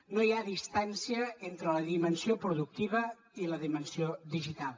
no hi ha distància entre la dimensió productiva i la dimensió digital